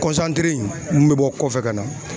mun bɛ bɔ kɔfɛ ka na.